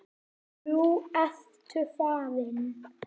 Nú ertu farinn.